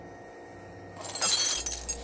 Hvað er kynorka?